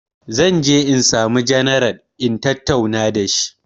Zan je insamu janaral in tatauna dashi